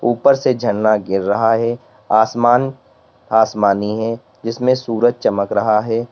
ऊपर से झरना गिर रहा है आसमान आसमानी है जिसमें सूरज चमक रहा है।